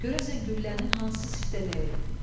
Görəsən güllənin hansı səmtə dəyib?